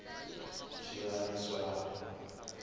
hi ku landza swiyimo swa